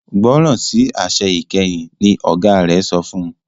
gbọràn sí àṣẹ ìkẹyìn! ní ọgá rẹ sọfún